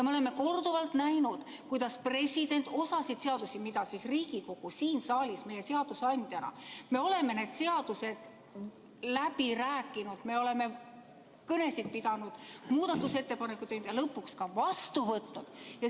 Me oleme korduvalt näinud, kuidas president osa seadustega, mida Riigikogu siin saalis seadusandjana on läbi rääkinud, me oleme kõnesid pidanud, muudatusettepanekuid teinud ja lõpuks ka vastu võtnud.